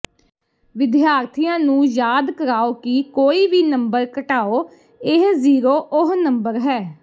ਵਿਦਿਆਰਥੀਆਂ ਨੂੰ ਯਾਦ ਕਰਾਓ ਕਿ ਕੋਈ ਵੀ ਨੰਬਰ ਘਟਾਓ ਇਹ ਜ਼ੀਰੋ ਉਹ ਨੰਬਰ ਹੈ